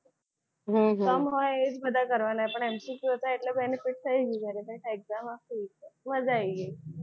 હમ હમ સમ હોય એ બધા જ કરવાના હોય પણ MCQ હતા એટલે benefit થઈ ગયું. પછી exam માં શું છે મજા આવી ગઈ. એટલે એમાં ને એમાં સારા માર્ક આવી ગયા એ સારું થયું.